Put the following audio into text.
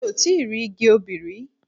Mo ti rí igi obì rí.